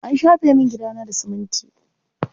An shafe min gidana da siminti.